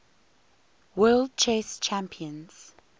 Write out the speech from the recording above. world chess champions